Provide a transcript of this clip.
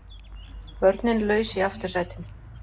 Börnin laus í aftursætinu